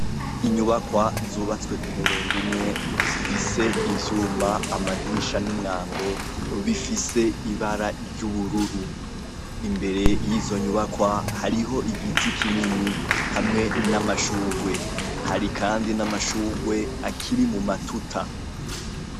Inyubakwa zubatse kumurongo umwe zifise ivyuma , amadirisha numwango, bifise ibara ry'bururu , imbere yizo nyubakwa hariho igiti kinini , hamwe n'amashurwe hari Kandi n'amashurwe akiri mu matuta.